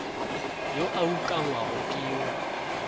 yo a ukangwago ke yo